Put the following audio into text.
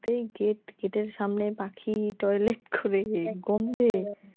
তেই gate, gate এর সামনেই পাখি toilet করে গন্ধে